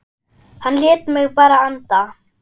Hann lét mig bara anda.